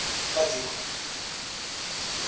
kadiko